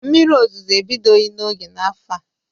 Mmiri ozuzo ebidoghi n'oge n'afọ a.